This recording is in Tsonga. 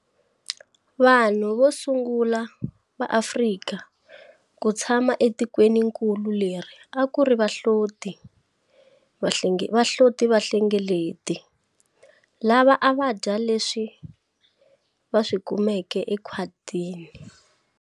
Vanhu vo sungula va Afrika ku tshama etikweninkulu leri a ku ri vahlotivahlengeleti lava a va dya leswi va swi kumeke ekhwatini.